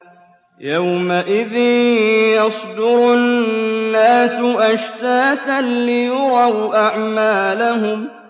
يَوْمَئِذٍ يَصْدُرُ النَّاسُ أَشْتَاتًا لِّيُرَوْا أَعْمَالَهُمْ